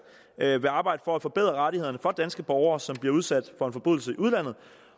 vil arbejde for at forbedre rettighederne for danske borgere som bliver udsat for en forbrydelse i udlandet